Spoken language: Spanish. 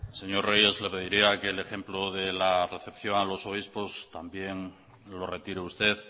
señor reyes le pediría que el ejemplo de la recepción a los obispos también lo retire usted